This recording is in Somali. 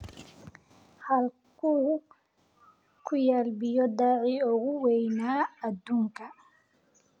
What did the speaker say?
Halkee ku yaal biyo-dhacii ugu weynaa adduunka?